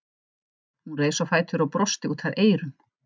Hún reis á fætur og brosti út að eyrum.